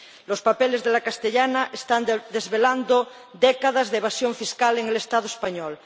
Los papeles de la Castellana están desvelando décadas de evasión fiscal en el Estado español.